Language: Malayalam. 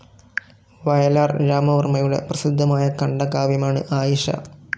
വയലാർ രാമവർമ്മയുടെ പ്രസിദ്ധമായ ഖണ്ഡകാവ്യമാണ് ആയിഷ.